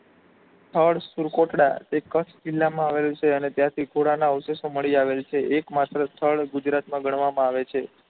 સ્થળ સૂરકોટડા તે કચ્છ જિલ્લા માં આવેલું છે અને ત્યાં થી પુરાણા અવશેષો મળી આવેલ છે. એક માત્ર સ્થળ ગુજરાત માં ગણવામાં આવે છે.